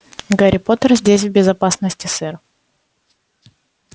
гарри поттер здесь в безопасности сэр